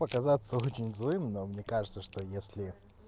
показаться очень злым но мне кажется что если